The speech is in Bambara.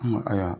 ayiwa